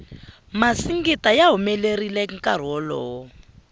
masingita ya humelerile nkarhi wolowo